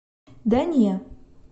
дания